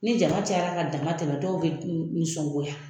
Ni jama cayara ka damatɛmɛ dɔw bɛ nisɔngoya